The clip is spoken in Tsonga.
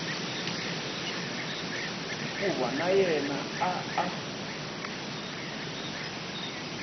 hikuva na yena a a